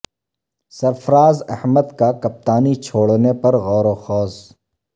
سرفراز احمد کا کپتانی چھوڑنے پر غور و خوص